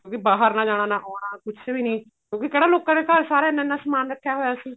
ਵੀ ਬਾਹਰ ਨਾ ਜਾਣਾ ਨਾ ਆਉਣਾ ਕੁੱਝ ਵੀ ਨੀ ਕਿਉਂਕਿ ਕਿਹੜਾ ਲੋਕਾਂ ਦੇ ਘਰ ਸਾਰੇ ਇੰਨਾ ਇੰਨਾ ਸਮਾਨ ਰੱਖਿਆ ਹੋਇਆ ਸੀ